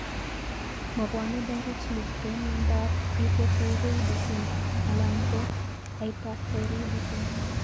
Mo pwone directlty kou miondap hypothyroidism alan ko hyperthyroidism.